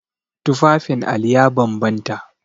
Tufafin Ali ya bambanta.